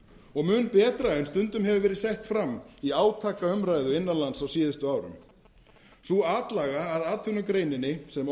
og mun betra en stundum hefur verið sett fram í átakaumræðu innan lands á síðustu árum sú atlaga að atvinnugreininni sem